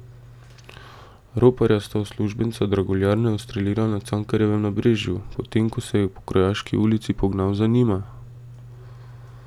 Roparja sta uslužbenca draguljarne ustrelila na Cankarjevem nabrežju, potem ko se je po Krojaški ulici pognal za njima.